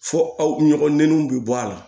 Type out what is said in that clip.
Fo aw ɲɔgɔn nuw bi bɔ a la